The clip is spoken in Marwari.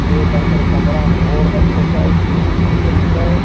एक अंदर कमरा में एक्सरसाइज की मशीन धरी स।